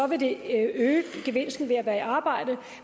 vil det øge gevinsten ved at være i arbejde